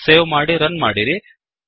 save ಮಾಡಿ run ಮಾಡಿರಿ